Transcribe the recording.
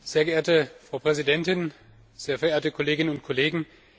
Sehr geehrte Frau Präsidentin, sehr verehrte Kolleginnen und Kollegen!